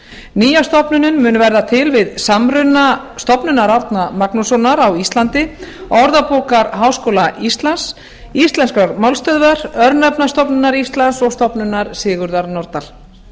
nýja stofnunin mun verða til við samruna stofnunar árna magnússonar á íslandi orðabókar háskóla íslands íslenskrar málstöðvar örnefnastofnunar íslands og stofnunar sigurðar nordal